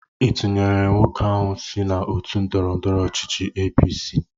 Ị tunyelụ nwoke ahụ so n'otu ndọrọndọrọ ọchịchị APC?